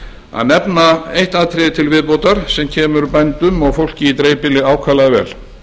að nefna eitt atriði til viðbótar sem kemur bændum og fólki í dreifbýli ákaflega vel